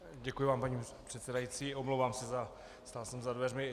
Děkuji vám, paní předsedající, omlouvám se, stál jsem za dveřmi.